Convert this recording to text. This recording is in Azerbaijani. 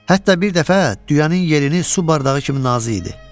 Hətta bir dəfə düyənin yerini su bardağı kimi nazı idi.